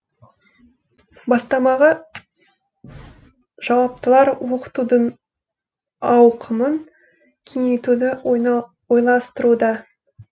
бастамаға жауаптылар оқытудың ауқымын кеңейтуді ойластыруда